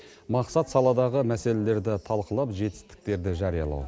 мақсат саладағы мәселелерді талқылап жетістіктерді жариялау